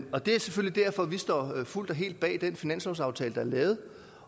og det er selvfølgelig derfor vi fuldt og helt står bag den finanslovsaftale der er lavet